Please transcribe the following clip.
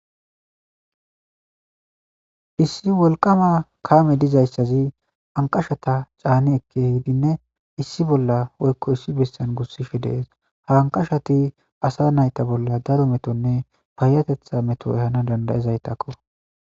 Issi wolqama kaame dizayssazi anqashata caani ekke hidinne issi bolla woykko issi bessan gussishe dees hanqashati asa nayta bolla daro metonne payatetha meto ehana dandayezaytakko.